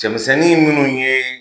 Cɛmisɛnnin munnu ye